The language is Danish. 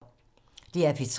DR P3